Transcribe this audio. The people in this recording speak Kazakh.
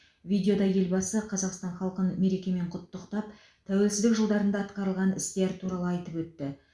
видеода елбасы қазақстан халқын мерекемен құттықтап тәуелсіздік жылдарында атқарылған істер туралы айтып өтті